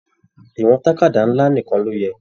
Ìwọ̀n tàkádá nlá nìkàn ló yẹ.